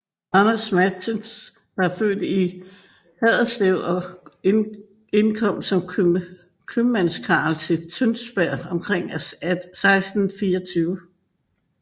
Anders Matsen var født i Haderslev og indkom som købmandskarl til Tønsberg omkring 1624